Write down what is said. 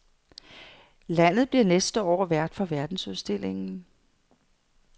Landet bliver næste år vært for verdensudstillingen.